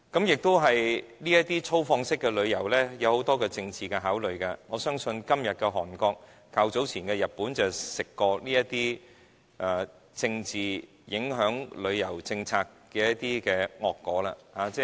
再者，這種粗放式旅遊受很多政治因素影響，我相信今天的韓國及較早前的日本便嘗到了政治影響旅遊政策的惡果。